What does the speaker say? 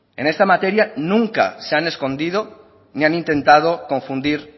en esta materia nunca se han escondido ni han intentado confundir